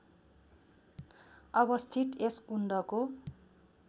अवस्थित यस कुण्डको